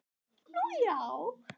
Nú, já?